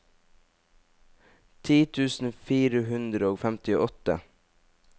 ti tusen fire hundre og femtiåtte